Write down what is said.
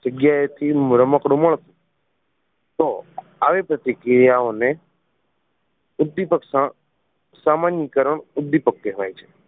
જગ્યાએ થી રમકડું મ તો આવી બધી ક્રિયાઓને ઉદીપક સામાનીકરણ ઉદીપક કહેવાય છે